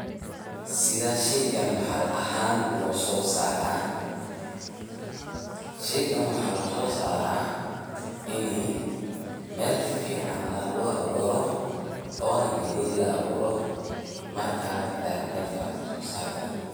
side shaygaan maxalli ahaan u soo saaray, sheygaan waxan lo so saara ini mel fican lagu abuuro ona gaaley la abuuro markas aya mel fican la so saar kara.